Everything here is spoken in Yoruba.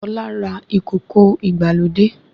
Ṣọlá ra ìkòkò ìgbàlódé